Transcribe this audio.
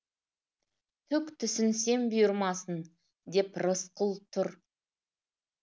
түк түсінсем бұйырмасын деп рысқұл тұр